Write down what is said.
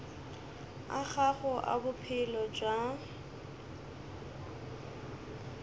a gago a bophelo bja